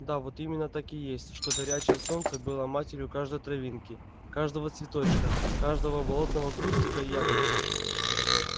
да вот именно так и есть что горячее солнце было матерью каждой травинки каждого цветочка каждого болотного кустика и ягодки